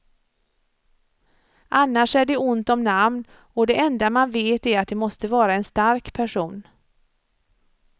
Annars är det ont om namn och det enda man vet är att det måste vara en stark person.